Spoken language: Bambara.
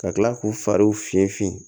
Ka kila k'u fariw finfin